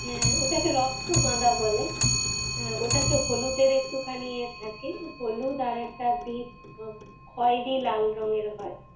হ্যাঁ ওটাকে রক্ত গাঁদা বলে। ওটা তে হলুদের একটু খানি ইয়ে থাকে। হলুদ আর একটা deep উহ খয়েরি লাল রঙের হয়।